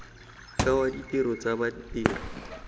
ke wa ditiro tsa badiri